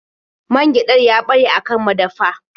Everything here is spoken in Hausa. Man gyaɗar ya ɓare a kan madafa.